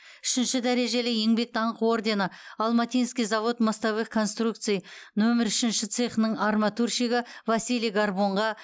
үшінші дәрежелі еңбек даңқы ордені алматинский завод мостовых конструкций нөмір үшінші цехының арматурщигі василий горбунға